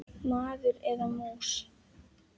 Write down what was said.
Maður eða mús.